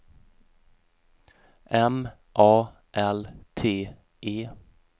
M A L T E